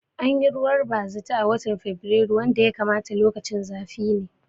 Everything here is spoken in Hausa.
Anyi ruwan bazata a watan a fabirailu wanda ya kamata lokacin zafi ne